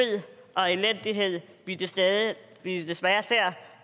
og elendighed vi desværre vi desværre ser